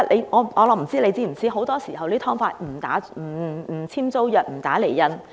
我不知道局長是否知道，很多時候租住"劏房"不簽租約、不打釐印。